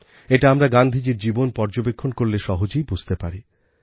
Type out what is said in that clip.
এটা আমরা গান্ধীজীর জীবন পর্যবেক্ষণ করলে সহজেই বুঝতে পারি